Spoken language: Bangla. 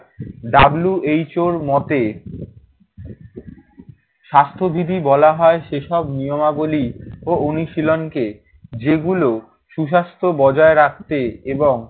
WHO র মতে স্বাস্থ্যবিধি বলা হয় সেসব নিয়মাবলী ও অনুশীলনকে যেগুলো সুস্বাস্থ্য বজায় রাখতে এবং